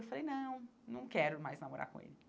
Eu falei, não, não quero mais namorar com ele.